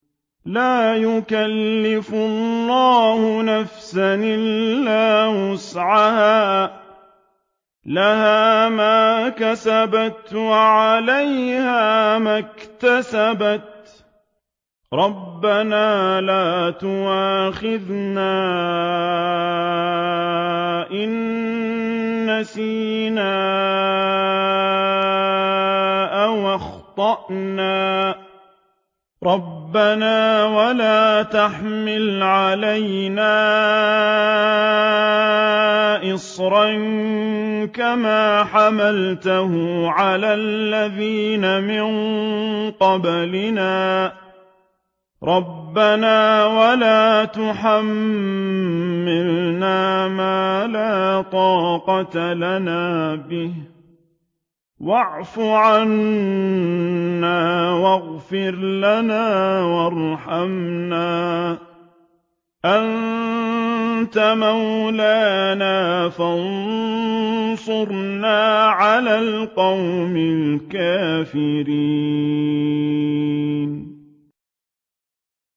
لَا يُكَلِّفُ اللَّهُ نَفْسًا إِلَّا وُسْعَهَا ۚ لَهَا مَا كَسَبَتْ وَعَلَيْهَا مَا اكْتَسَبَتْ ۗ رَبَّنَا لَا تُؤَاخِذْنَا إِن نَّسِينَا أَوْ أَخْطَأْنَا ۚ رَبَّنَا وَلَا تَحْمِلْ عَلَيْنَا إِصْرًا كَمَا حَمَلْتَهُ عَلَى الَّذِينَ مِن قَبْلِنَا ۚ رَبَّنَا وَلَا تُحَمِّلْنَا مَا لَا طَاقَةَ لَنَا بِهِ ۖ وَاعْفُ عَنَّا وَاغْفِرْ لَنَا وَارْحَمْنَا ۚ أَنتَ مَوْلَانَا فَانصُرْنَا عَلَى الْقَوْمِ الْكَافِرِينَ